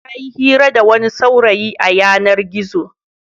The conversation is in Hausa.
Ta yi hira da wani saurayi a yanar-gizo.